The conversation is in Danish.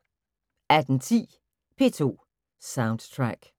18:10: P2 Soundtrack